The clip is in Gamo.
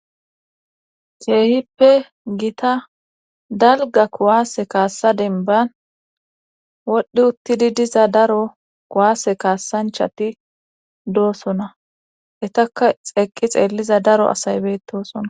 Keehippe gita dalga kuwaase kaassa denban wodhdhi uttidi diza daro kuwaase kaassanchati doosona etaka xeeqqi xeelliza daro asay betosona